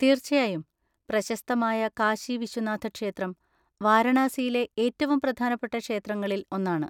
തീർച്ചയായും. പ്രശസ്തമായ കാശി വിശ്വനാഥ ക്ഷേത്രം വാരണാസിയിലെ ഏറ്റവും പ്രധാനപ്പെട്ട ക്ഷേത്രങ്ങളിൽ ഒന്നാണ്.